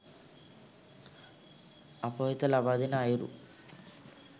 අප වෙත ලබාදෙන අයුරු